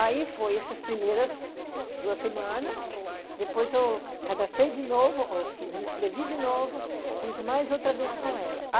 Aí foi essas primeiras duas semanas, depois eu cadastrei de novo, me inscrevi de novo, fiz mais outra vez com ela.